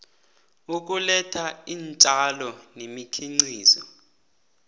ukuletha iintjalo nemikhiqizo